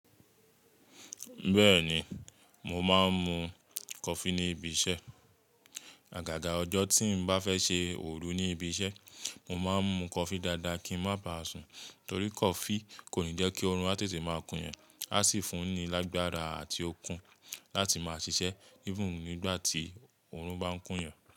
Bẹ́ẹ̀ni, mo máa ń mu coffee ní ibi iṣẹ́. Àgàgà ọjọ́ tí n bá fẹ́ ṣe òru ní ibi iṣẹ́, mo máa ń mu coffee dáadáa kí ń má ba à sùn, torí coffee kò ní jẹ́ kí oorun àtètè máa kún yàn, á sì fún ni lágbára àti okun láti máa ṣiṣẹ́ even nígbàtí oorun bá ń kún yàn.